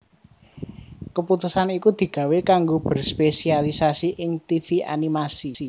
Keputusan iku digawé kanggo berspesialisasi ing tivi animasi